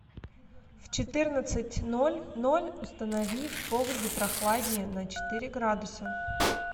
в четырнадцать ноль ноль установи в погребе прохладнее на четыре градуса